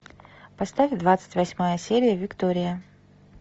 поставь двадцать восьмая серия виктория